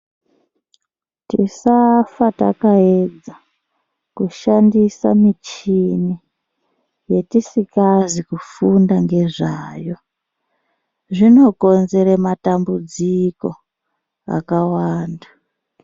Tisafa takaedza kushandisa michini yetisikazi kufunda ngezvayo, zvinokonzere matambudziko akawanda.